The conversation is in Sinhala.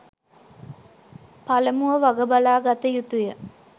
පළමුව වග බලා ගත යුතුය.